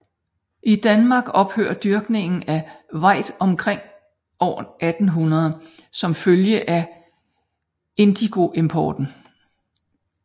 I Danmark ophørte dyrkningen af vajd omkring år 1800 som følge af indigoimporten